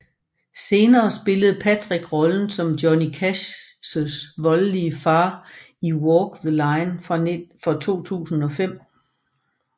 Senere spillede Patrick rollen som Johnny Cashs voldelige far i Walk the Line fra 2005